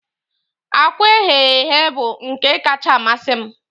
Akwa eghee eghe bụ nke kacka amasị m